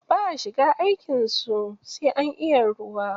Ba a shiga aikin su, sai an iya ruwa.